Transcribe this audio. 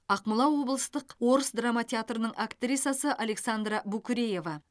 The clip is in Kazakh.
ақмола облыстық орыс драма театрының актрисасы александра букреева